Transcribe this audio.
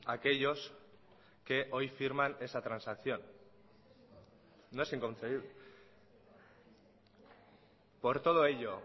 aquellos que hoy firman esa transacción no es inconcebible por todo ello